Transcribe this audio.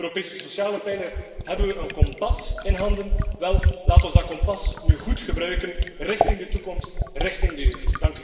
Met de Europese sociale pijler hebben we een kompas in handen. Laten we dat kompas goed gebruiken richting de toekomst, richting de jeugd.